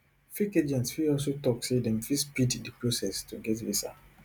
fake agents fit also tok say dem fit speed di process to get visa